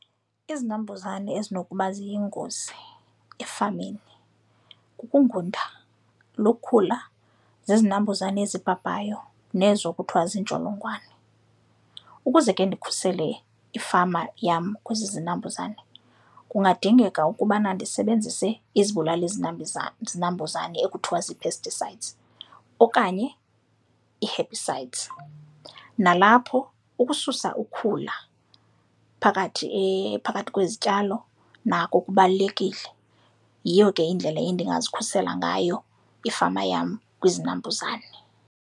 Izinambuzane ezinokuba ziyingozi efameni kukungunda, lukhula, zizinambuzane ezibhabhayo nezo kuthiwa ziintsholongwane. Ukuze ke ndikhusele ifama yam kwezi zinambuzane kungadingeka ukubana ndisebenzise izibulalali zinambuzane ekuthiwa zii-pesticides okanye ii-herbicides. Nalapho ukususa ukhula phakathi phakathi kwezityalo nako kubalulekile, yiyo ke indlela endingazikhulisela ngayo ifama yam kwizinambuzane.